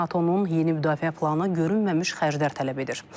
NATO-nun yeni müdafiə planı görünməmiş xərclər tələb edir.